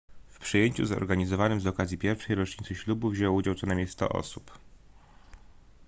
w przyjęciu zorganizowanym z okazji pierwszej rocznicy ślubu wzięło udział co najmniej 100 osób